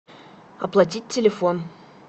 оплатить телефон